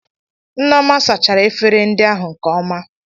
Nneoma sachara efere ndị ahụ nke ọma